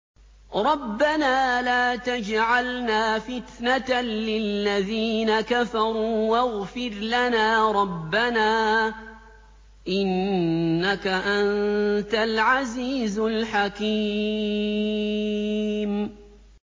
رَبَّنَا لَا تَجْعَلْنَا فِتْنَةً لِّلَّذِينَ كَفَرُوا وَاغْفِرْ لَنَا رَبَّنَا ۖ إِنَّكَ أَنتَ الْعَزِيزُ الْحَكِيمُ